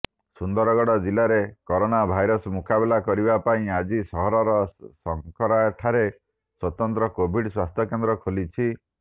ସୁନ୍ଦରଗଡ଼ ଜିଲ୍ଲାରେ corona virus ମୁକାବିଲା କରିବା ପାଇଁ ଆଜି ସହରର ଶଙ୍କରାଠାରେ ସ୍ୱତନ୍ତ୍ର କୋଭିଡ୍ ସ୍ୱାସ୍ଥ୍ୟକେନ୍ଦ୍ର ଖୋଲିଛି